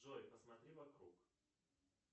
джой посмотри вокруг